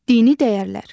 Dini dəyərlər.